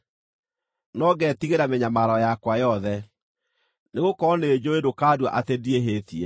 no ngeetigĩra mĩnyamaro yakwa yothe, nĩgũkorwo nĩnjũũĩ ndũkandua atĩ ndiĩhĩtie.